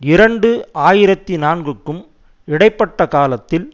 இரண்டு ஆயிரத்தி நான்குக்கும் இடை பட்ட காலத்தில்